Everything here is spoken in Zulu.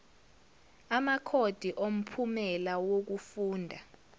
amakhodi omphumela wokufunda